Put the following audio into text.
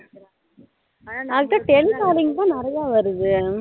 tele calling நிறைய வருது